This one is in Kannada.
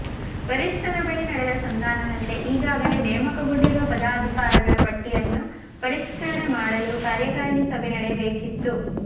ವರಿಷ್ಠರ ಬಳಿ ನಡೆದ ಸಂಧಾನದಂತೆ ಈಗಾಗಲೇ ನೇಮಕಗೊಂಡಿರುವ ಪದಾಧಿಕಾರಿಗಳ ಪಟ್ಟಿಯನ್ನು ಪರಿಷ್ಕರಣೆ ಮಾಡಲು ಕಾರ್ಯಕಾರಿಣಿ ಸಭೆ ನಡೆಯಬೇಕಿತ್ತು